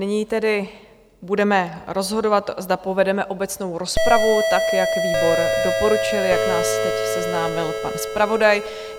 Nyní tedy budeme rozhodovat, zda povedeme obecnou rozpravu, tak jak výbor doporučuje, jak nás teď seznámil pan zpravodaj.